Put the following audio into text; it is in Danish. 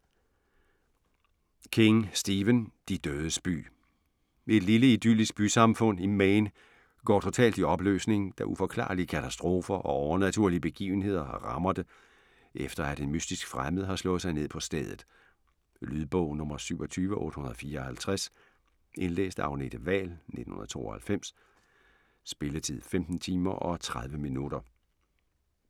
King, Stephen: De dødes by Et lille, idyllisk bysamfund i Maine går totalt i opløsning, da uforklarlige katastrofer og overnaturlige begivenheder rammer det, efter at en mystisk fremmed har slået sig ned på stedet. Lydbog 27854 Indlæst af Agnete Wahl, 1992. Spilletid: 15 timer, 30 minutter.